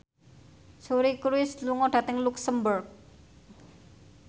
Suri Cruise lunga dhateng luxemburg